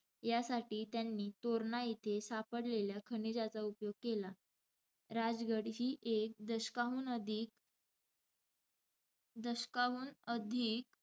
यासाठी त्यांनी तोरणा येथे सापडलेल्या खनिजाचा उपयोग केला. राजगड ही एक दशकाहून अधिक दशकाहून अधिक,